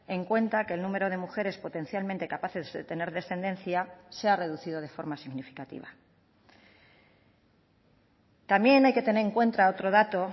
en cuenta que el número de mujeres potencialmente capaces de tener descendencia se ha reducido de forma significativa también hay que tener en cuenta otro dato